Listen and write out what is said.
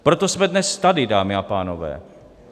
Proto jsme dnes tady, dámy a pánové.